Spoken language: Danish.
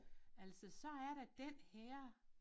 Altså så er der den her